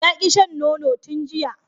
Ya ki shan nono tun jiya